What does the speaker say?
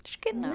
Acho que não.